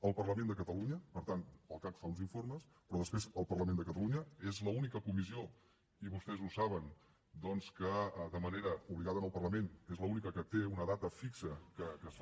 al parlament de catalunya per tant el cac fa uns informes però després al parlament de catalunya és l’única comissió i vostès ho saben doncs que de manera obligada en el parlament té una data fixa que es fa